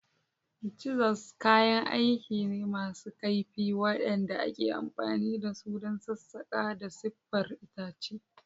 Chisels kayan aiki ne masu kaifi waɗanda ake amfani da su don sassaƙa da siffar itace.